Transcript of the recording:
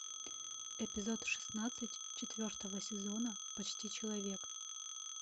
эпизод шестнадцать четвертого сезона почти человек